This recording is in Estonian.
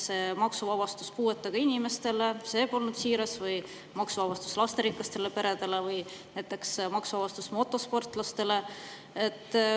Kas see maksuvabastus puuetega inimestele polnud siiras või maksuvabastus lasterikastele peredele või maksuvabastus motosportlastele?